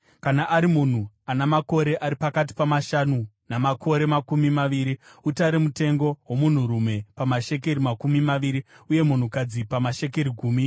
Kana ari munhu ana makore ari pakati pamashanu namakore makumi maviri, utare mutengo womunhurume pamashekeri makumi maviri , uye munhukadzi pamashekeri gumi .